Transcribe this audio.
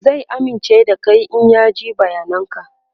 zai amince da Kai in ya ji bayanan ka